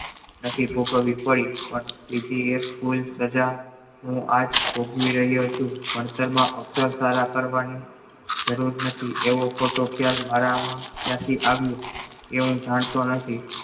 આ જે ખબર પડી એ થી સજા હું આજ ભોગી રહ્યું છું ભણતર માં અક્ષર સારા કરવાની જરૂર નથી એવો ખ્યાલ મારા ત્યાં થી આવ્યું એ હું જાણતો નથી